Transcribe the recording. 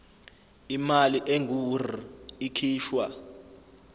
imali engur ikhishwa